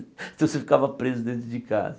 Então você ficava preso dentro de casa.